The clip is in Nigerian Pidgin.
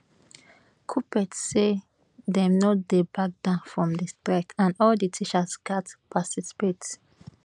kuppet say dem no dey back down from di strike and all di teachers gatz participate